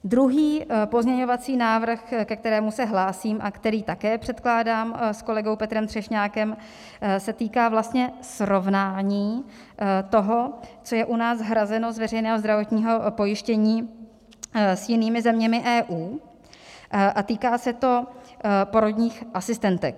Druhý pozměňovací návrh, ke kterému se hlásím a který také předkládám s kolegou Petrou Třešnákem, se týká vlastně srovnání toho, co je u nás hrazeno z veřejného zdravotního pojištění s jinými zeměmi EU, a týká se to porodních asistentek.